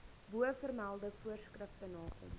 bovermelde voorskrifte nakom